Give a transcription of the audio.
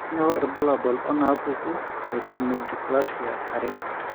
Kainyio irbulabul onaapuku eOmodysplasia are?